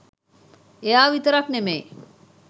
එයා විතරක් නෙමෙයි